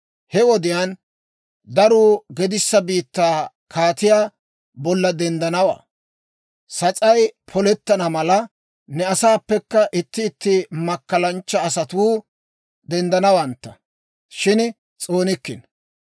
He wodiyaan daruu gedissa biittaa kaatiyaa bolla denddanawaa. Sas'ay polettana mala, ne asaappekka itti itti makkalanchcha asatuu denddanawantta; shin s'oonikkino.